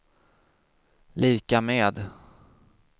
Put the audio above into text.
lika med